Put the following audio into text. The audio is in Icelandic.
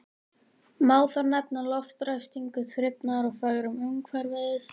Má þar nefna loftræstingu, þrifnað og fegrun umhverfis.